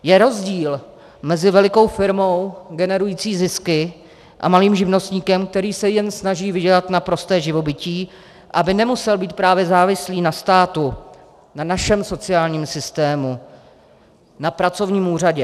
Je rozdíl mezi velikou firmou generující zisky a malým živnostníkem, který se jen snaží vydělat na prosté živobytí, aby nemusel být právě závislý na státu, na našem sociálním systému, na pracovním úřadu.